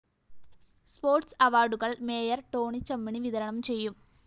sports അവാര്‍ഡുകള്‍ mayor Tony Chammany വിതരണം ചെയ്യും